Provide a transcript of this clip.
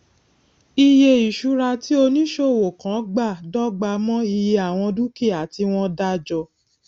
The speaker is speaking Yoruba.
iye ìṣura tí oníṣòwò kan gbà dọgba mọ iye àwọn dúkìá tí wón dá jọ